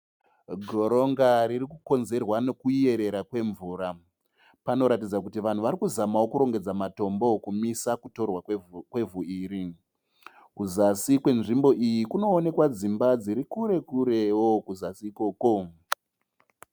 Goronga riri kukonzerwa nekuyerera kwemvura panoratidza kuti vanhu varikuzamao kurongedzao matombo kumisa kutorwa kwevhu iri. kuzasi kwenzimbo iyi kunoonekao dzimba dzirikure kureo kuzasi ikoko